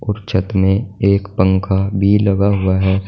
छत में एक पंखा भी लगा हुआ है।